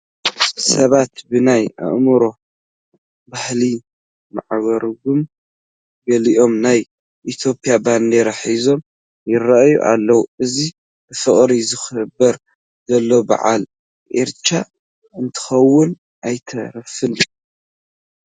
ሰባት ብናይ ኦሮሞ ባህሊ ማዕሪጎም፣ ገሊኦም ናይ ኢትዮጵያ ባንዲራ ሒዞም ይርአዩ ኣለዉ፡፡ እዚ ብፍቕሪ ዝኽበር ዘሎ በዓል ኢሬቻ እንተይኮነ ኣይተርፍን፡፡